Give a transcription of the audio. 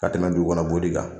Ka tɛmɛ duku kɔnɔ boli kan.